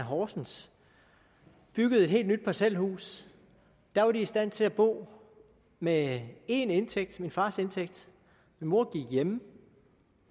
horsens og byggede et helt nyt parcelhus der var de i stand til at bo med én indtægt min fars indtægt min mor gik hjemme